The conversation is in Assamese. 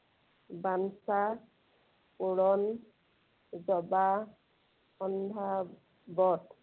বাঞ্ছা পূৰণ, জৰাসন্ধ বধ।